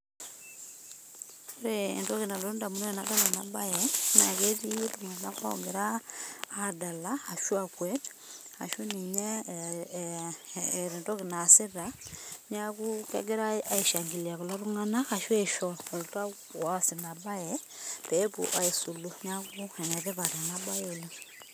Ore entoki nalotu indamunot enadol ena bae naa ketii iltung'anak ogira aadala, ashu akwet ashu ninye eeta entoki naasita. Neeku kegirai ai shangilia kulo tung'anak ashu aisho oltau oasis ina bae pee epwo aisulu. Neeku enetipat ena bae oleng